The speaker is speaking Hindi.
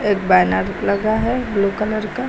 बैनर लगा है ब्लू कलर का।